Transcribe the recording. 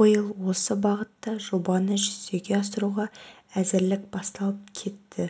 биыл осы бағытта жобаны жүзеге асыруға әзірлік басталып кетті